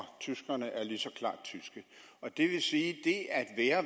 tyskerne er lige så klart tyske og det vil sige